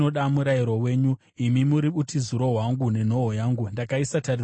Imi muri utiziro hwangu nenhoo yangu; ndakaisa tariro yangu pashoko renyu.